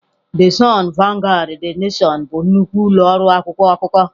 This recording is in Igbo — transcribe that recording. The Sun, Vanguard, The Nation bụ nnukwu ụlọ ọrụ akwụkwọ akụkọ.